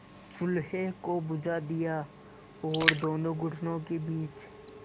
चूल्हे को बुझा दिया और दोनों घुटनों के बीच